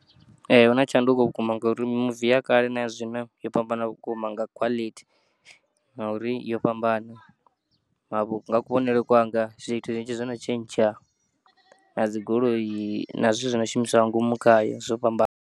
Ee huna tshanduko vhukuma ngauri muvi ya kale naya zwino yo fhambana vhukuma nga khwalithi ngauri yo fhambana ngavhu nga kuvhonele kwanga zwithu zwinzhi zwono tshentsha, na dzigoloi na zwithu zwono shumiswa nga ngomu khayo zwo fhambana.